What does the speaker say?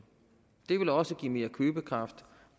det vil også give mere købekraft